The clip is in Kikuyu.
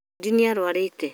Fundi nĩ arũarĩte